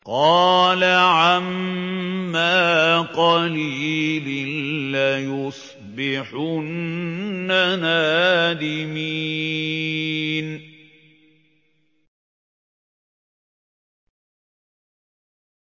قَالَ عَمَّا قَلِيلٍ لَّيُصْبِحُنَّ نَادِمِينَ